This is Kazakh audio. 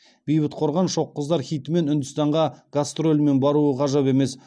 бейбіт қорған шоқ қыздар хитімен үндістанға гастрольмен баруы ғажап емес